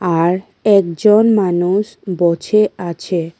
আর একজন মানুষ বোছে আছে।